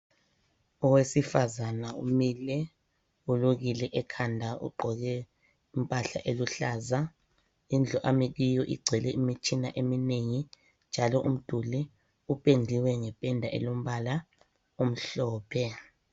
Awesifazana umile ulukile ekhanda ogqoke impahla eluhlaza indlu ami kuyo igcwele imitshina eminengi njalo umduli upendiwe ngependa elombala omhlophe.